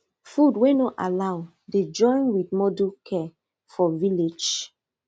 food wey no allow dey join with modern care for village